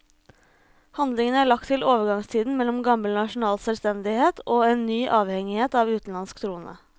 Handlingen er lagt til overgangstiden mellom gammel nasjonal selvstendighet og en ny avhengighet av en utenlandsk trone.